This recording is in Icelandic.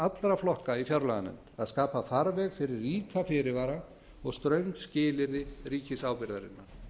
allra flokka í fjárlaganefnd að skapa farveg fyrir ríka fyrirvara og ströng skilyrði ríkisábyrgðarinnar